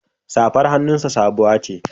Safar hannunsa sabuwa ce.